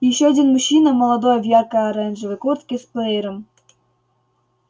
ещё один мужчина молодой в яркой оранжевой куртке с плеером